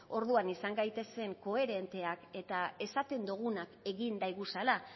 orduan izan gaitezen koherenteak eta esaten duguna egin daiguzala